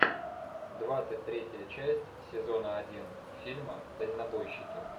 двадцать третья часть сезона один фильма дальнобойщики